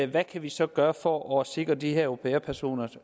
hvad kan vi så gøre for at sikre de her au pair personer